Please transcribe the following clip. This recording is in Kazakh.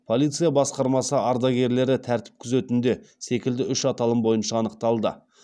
полиция басқармасы ардагерлері тәртіп күзетінде секілді үш аталым бойынша анықталды